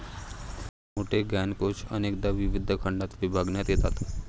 मोठे ज्ञानकोश अनेकदा विविध खंडात विभागण्यात येतात.